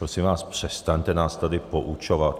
Prosím vás, přestaňte nás tady poučovat.